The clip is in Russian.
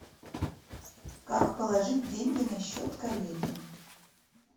как положить деньги на счет коллеге